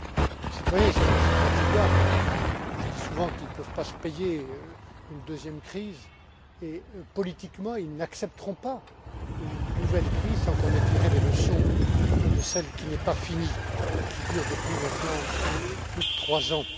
Les citoyens sont aussi des contribuables. Je dis souvent qu'ils ne peuvent pas se payer une deuxième crise et, politiquement, ils n'accepteront pas une nouvelle crise sans qu'on ait tiré des leçons de celle qui n'est pas finie et qui dure depuis maintenant plus de trois ans.